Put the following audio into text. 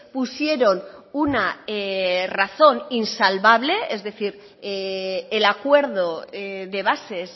pusieron una razón insalvable es decir el acuerdo de bases